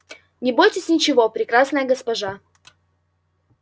не бойтесь ничего прекрасная госпожа